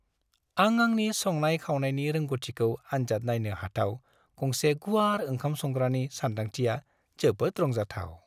आं आंनि संनाय-खावनायनि रोंग'थिखौ आन्जाद नायनो हाथाव गंसे गुवार ओंखाम संग्रानि सानदांथिया जोबोद रंजाथाव।